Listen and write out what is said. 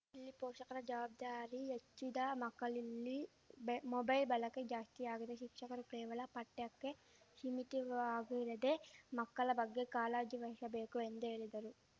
ಇಲ್ಲಿ ಪೋಷಕರ ಜವಾಬ್ದಾರಿ ಹೆಚ್ಚಿದೆ ಮಕ್ಕಳಿಲ್ಲಿ ಮೊಬೈಲ್‌ ಬಳಕೆ ಜಾಸ್ತಿಯಾಗಿದೆ ಶಿಕ್ಷಕರು ಕೇವಲ ಪಠ್ಯಕ್ಕೆ ಶೀಮಿತವಾಗಿರದೇ ಮಕ್ಕಳ ಬಗ್ಗೆ ಕಾಳಜಿ ವಹಿಶಬೇಕು ಎಂದು ಹೇಳಿದರು